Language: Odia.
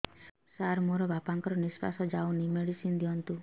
ସାର ମୋର ବାପା ଙ୍କର ନିଃଶ୍ବାସ ଯାଉନି ମେଡିସିନ ଦିଅନ୍ତୁ